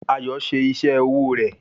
Ayọ̀ ṣe iṣẹ́ owó rẹ̀